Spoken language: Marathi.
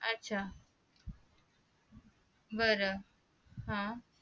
आच्छा बर हा